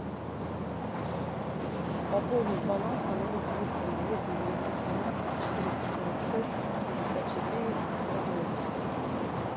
пополнить баланс на номер телефона восемь девятьсот тринадцать четыреста сорок шесть пятьдесят четыре сорок восемь